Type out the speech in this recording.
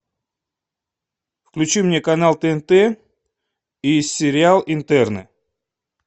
включи мне канал тнт и сериал интерны